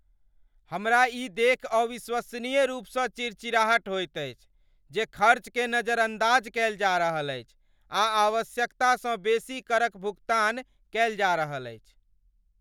हमरा ई देखि अविश्वसनीय रूप सँ चिड़चिड़ाहट होइत अछि जे खर्च केँ नजरअंदाज कयल जा रहल अछि आ आवश्यकतासँ बेसी कर क भुगतान कयल जा रहल अछि।